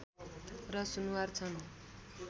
र सुनुवार छन्